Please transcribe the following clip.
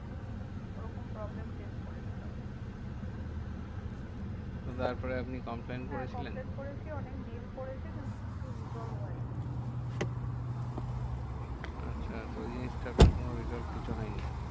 ওরকম problem face করেছিলাম। তো তারপরে আপনি complain করেছিলেন? হ্যাঁ complain করেছি। অনেক mail করেছি কিন্তু কিছু resolve হয়নি। আচ্ছা তো ওই জিনিসটা আপনার resolve কিছু হয় নি? না